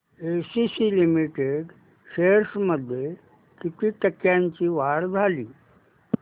ACC limited shares मध्ये किती टक्क्यांची वाढ झाली